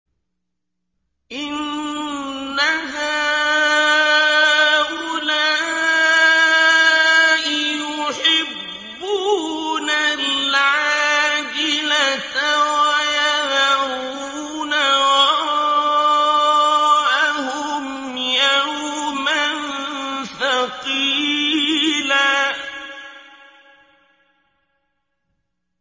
إِنَّ هَٰؤُلَاءِ يُحِبُّونَ الْعَاجِلَةَ وَيَذَرُونَ وَرَاءَهُمْ يَوْمًا ثَقِيلًا